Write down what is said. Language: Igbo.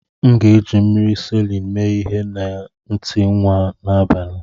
M ga-eji mmiri Salịn mee ihe na ntị nwa m n'abalị